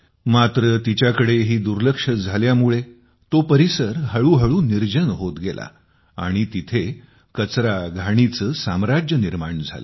मात्र तिच्याकडेही दुर्लक्ष झाल्यामुळे तो परिसर हळूहळू निर्जन होत गेला आणि तिथे कचराघाणीचे साम्राज्य निर्माण झाले